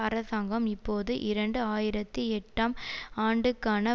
அரசாங்கம் இப்போது இரண்டு ஆயிரத்தி எட்டாம் ஆண்டுக்கான